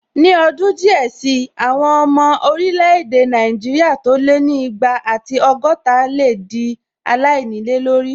Ní ọdún díẹ̀ sí, àwọn ọmọ orílẹ̀-èdè Nàìjíríà tó lé ní igba ati ọgọ́ta lè dí aláìnílé lórí